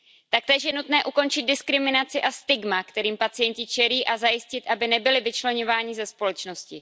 Taktéž je nutné ukončit diskriminaci a stigmata, kterým pacienti čelí, a zajistit, aby nebyli vyčleňováni ze společnosti.